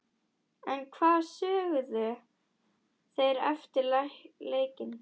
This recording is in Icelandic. En hvað sögðu þeir eftir leikinn?